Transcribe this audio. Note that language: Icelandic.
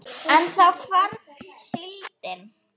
En þá hvarf síldin.